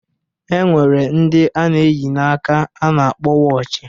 E nwere ndi a na-eyi n'aka a na-akpọ wọochi